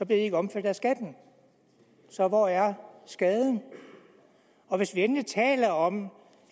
ikke omfattet af skatten så hvor er skaden hvis vi endelig taler om